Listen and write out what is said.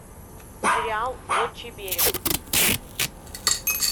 сериал отчий берег